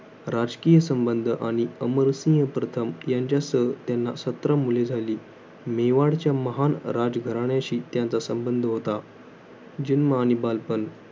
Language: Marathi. राजकीय संबंध आणि अमरसनीय प्रथम यांच्यसह त्यांना सतरा मुले झाली. मेवाडच्या महान राजघराण्याशी त्यांचा संबंध होता. जन्म आणि बालपण.